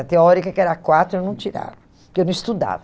A teórica, que era quatro, eu não tirava, porque eu não estudava.